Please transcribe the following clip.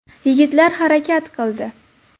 Yigitlar harakat qildi.